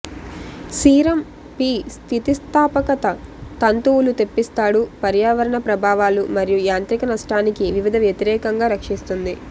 serum పి స్థితిస్థాపకత తంతువులు తెప్పిస్తాడు పర్యావరణ ప్రభావాలు మరియు యాంత్రిక నష్టానికి వివిధ వ్యతిరేకంగా రక్షిస్తుంది